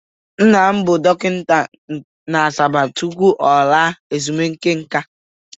Nna m bụ dọkịta na Asaba tupu ọ laa ezumike nka.